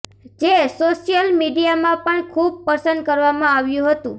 જે સોશિયલ મીડિયામાં પણ ખુબ પસંદ કરવામાં આવ્યુ હતું